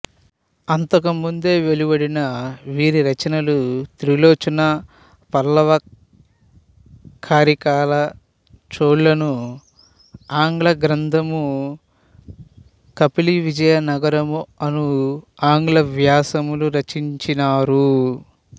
అంతకుముందే వెలువడిన వీరిరచనలు త్రిలోచన పల్లవకరికాల చోళులను ఆంగ్లగ్రంధము కంపిలివిజయనగరము అను ఆంగ్ల వ్యాసములు రచించినారు